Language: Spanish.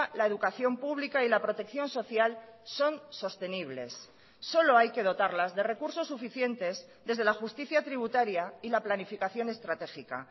la educación pública y la protección social son sostenibles solo hay que dotarlas de recursos suficientes desde la justicia tributaria y la planificación estratégica